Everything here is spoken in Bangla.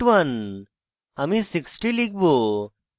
আমি 60 লিখব